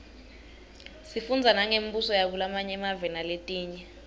sifundza nangembuso yakulamanye emave naletinye